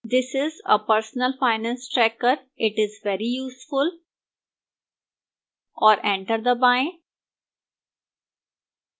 this is a personal finance tracker it is very useful और enter दबाएं